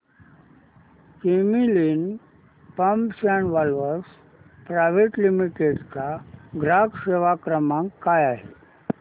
Camlin pumps and valves private limited चा ग्राहक सेवा क्रमांक काय आहे